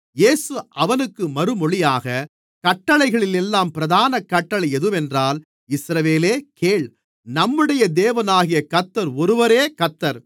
இயேசு அவனுக்கு மறுமொழியாக கட்டளைகளிலெல்லாம் பிரதான கட்டளை எதுவென்றால் இஸ்ரவேலே கேள் நம்முடைய தேவனாகிய கர்த்தர் ஒருவரே கர்த்தர்